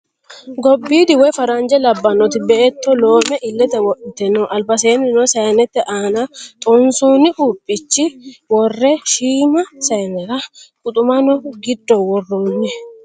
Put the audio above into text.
Gobbidi woyi farranijje labbanoti beetto loome illette wodhitte noo. Alibbaseninno saayinnette aana xonisonni quupichch worre shiima saayinerra quxumanno giddo worronni